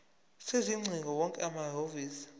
sezingcingo wonke amahhovisi